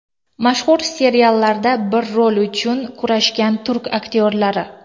Mashhur seriallarda bir rol uchun kurashgan turk aktyorlari .